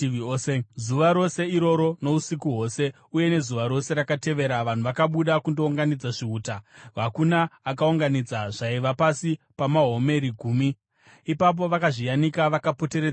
Zuva rose iroro nousiku hwose uye nezuva rose rakatevera vanhu vakabuda kundounganidza zvihuta. Hakuna akaunganidza zvaiva pasi pamahomeri gumi . Ipapo vakazviyanika vakapoteredza musasa.